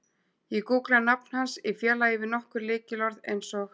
Ég gúggla nafn hans í félagi við nokkur lykilorð eins og